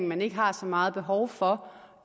man ikke har så meget behov for